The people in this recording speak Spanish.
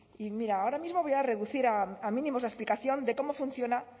y mira ahora mismo voy a reducir a mínimos la explicación de cómo funciona